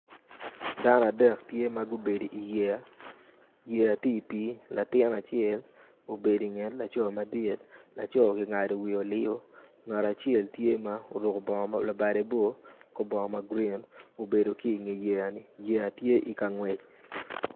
Dano adek tye magbedo i yeya, yeya tye i pi latin acel obedo i nget laco madit laco gingado wiye o liyo ngat acel tye ma oruko bongo ma labade bor kor bongo magurin obedo ki wi yeya ni, yeya tye i kangwec.